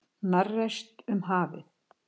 Hnarreist um hafið.